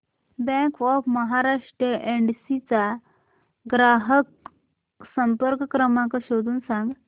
bank of Maharashtra Yedshi चा ग्राहक संपर्क क्रमांक शोधून सांग